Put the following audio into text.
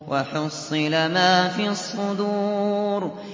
وَحُصِّلَ مَا فِي الصُّدُورِ